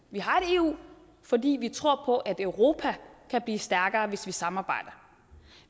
vi har et eu fordi vi tror på at europa kan blive stærkere hvis vi samarbejder